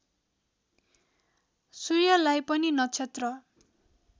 सूर्यलाई पनि नक्षत्र